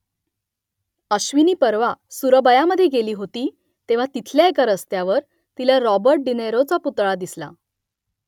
अश्विनी परवा सुरबयामध्ये गेली होती तेव्हा तिथल्या एका रस्त्यावर तिला रॉबर्ट डी नीरोचा पुतळा दिसला